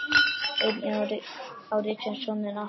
Einnig á Richard soninn Arthur.